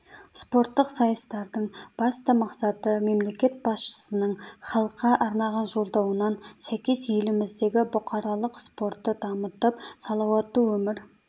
спорттық сайыстардың басты мақсаты мемлекет басшысының халыққа арнаған жолдауынан сәйкес еліміздегі бұқаралық спортты дамытып салауатты өмір